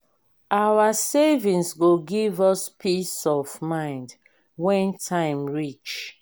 our savings go give us peace of mind when time reach.